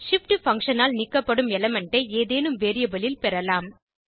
shift function ஆல் நீக்கப்படும் element ஐ ஏதேனும் வேரியபிள் ல் பெறலாம்